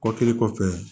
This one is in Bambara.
Kɔ kɛlen kɔfɛ